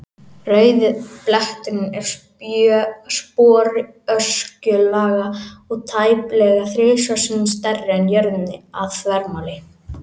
Rauði bletturinn er sporöskjulaga og tæplega þrisvar sinnum stærri en jörðin að þvermáli.